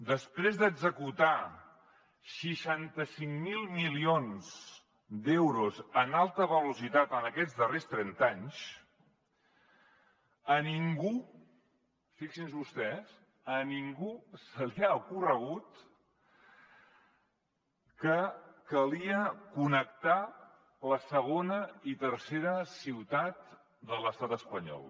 després d’executar seixanta cinc mil milions d’euros en alta velocitat en aquests darrers trenta anys a ningú fixin se vostès se li ha ocorregut que calia connectar la segona i tercera ciutat de l’estat espanyol